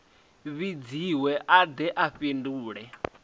vhidziwe a de a fhindule